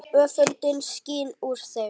Öfundin skín úr þeim.